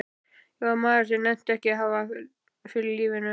Ég var maður sem nennti ekki að hafa fyrir lífinu.